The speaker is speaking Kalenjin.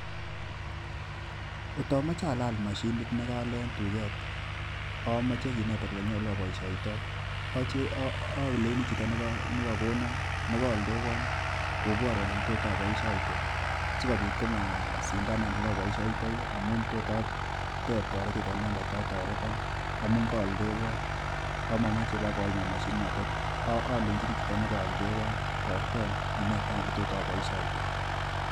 Kot amoche alal mashinit nekaale en duket, omoche kinetan olenyolu oboishoito. Olenjini chito nekakonon nekooldewon koborwon ole tot oboishoite sikobiit komasindanan ole oboishyotoi amun tot atep toretet en inendet ako toreton amun kooldewon ako komomoche kobakoiman moshinit notet olenjini chito nekooldewon toreton inetan ole tot aboishoite.